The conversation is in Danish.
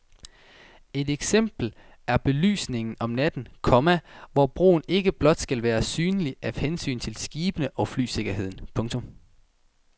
Et eksempel er belysningen om natten, komma hvor broen ikke blot skal være synlig af hensyn til skibene og flysikkerheden. punktum